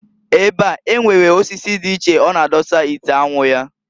Ebe a, enwere osisi di iche ọ na adọsa ite anwu ya.